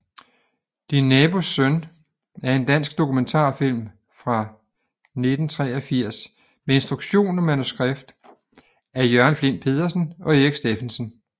Din nabos søn er en dansk dokumentarfilm fra 1983 med instruktion og manuskript af Jørgen Flindt Pedersen og Erik Stephensen